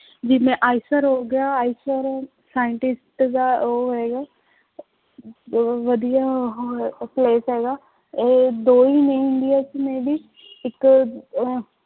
ਜਿਵੇਂ ਆਇਸਰ ਹੋ ਗਿਆ, ਆਇਸਰ scientist ਦਾ ਉਹ ਹੈ ਬਹੁਤ ਵਧੀਆ ਉਹ ਹੈ place ਹੈਗਾ ਇਹ ਦੋ ਹੀ ਨੇ ਇੰਡੀਆ ਚ may be ਇੱਕ ਅਹ